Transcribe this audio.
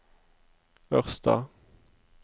Ørsta